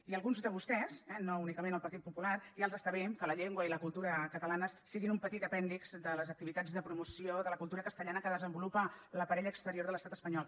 i a alguns de vostès no únicament el partit popular ja els està bé que la llengua i la cultura catalanes siguin un petit apèndix de les activitats de promoció de la cultura castellana que desenvolupa l’aparell exterior de l’estat espanyol